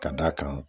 Ka d'a kan